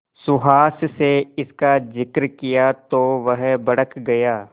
सुहास से इसका जिक्र किया तो वह भड़क गया